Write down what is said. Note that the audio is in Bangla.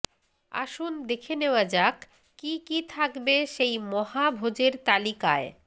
আসুন দেখে নেওয়া যাক কী কী থাকবে সেই মহাভোজের তালিকায়